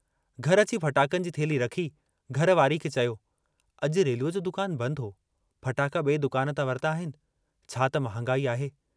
घर अची फटाकनि जी थेल्ही रखी घर वारी खे चयो, अजु रेलूअ जो दुकान बंदि हो, फटाका बिए दुकान तां वरता आहिनि, छा त महागाई आहे।